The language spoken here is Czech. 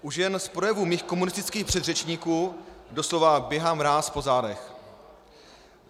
Už jen z projevů mých komunistických předřečníků doslova běhá mráz po zádech.